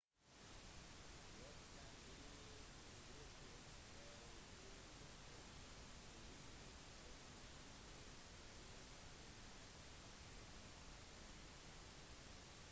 folk kan bli påvirket av å puste inn påvirket vann inntatt fra luften gjennom vind og bølger